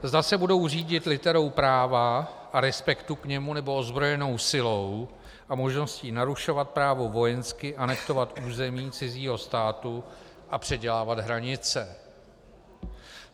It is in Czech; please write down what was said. Zda se budou řídit literou práva a respektu k němu, nebo ozbrojenou silou a možností narušovat právo vojensky, anektovat území cizího státu a předělávat hranice.